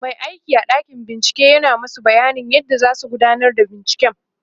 Mai aiki a ɗakin bincike yana masu bayanin yadda zasu gudanar da binciken